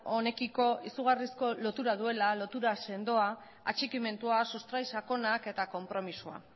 honekiko izugarrizko lotura duela atxikimendua sustrai sakonak eta konpromisoa